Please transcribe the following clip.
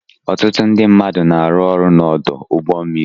Ọtụtụ ndị mmadụ na-arụ ọrụ n'ọdụ ụgbọ mmiri.